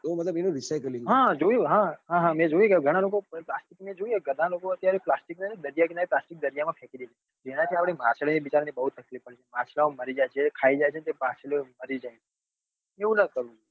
હા હા જોયું હા હા મેં જોયું કે ગણા લોકો મેં જોયું કે ગણા લોકો અત્યારે પ્લાસ્ટિક ને દરિયા કિનારે પ્લાસ્ટિક દરિયા માં ફેંકી દે છે જેના થી આપડે માછલીઓ ને બિચારીઓ ને બઉ તકલીફ પડે છે માછલા ઓ મરી જાય છે જે ખાય જાય છે તો એ માછલીઓ મરી જાય છે એવું નાં કરવું જોઈએ